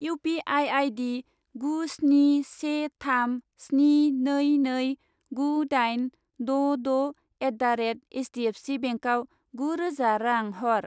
U P I I D गु स्नि से थाम स्नि नै नै गु दाइन द' द' एट दा रेट एइसदिएफसि बेंकआव गु रोजा रां हर।